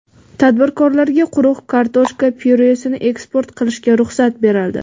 Tadbirkorlarga quruq kartoshka pyuresini eksport qilishga ruxsat berildi.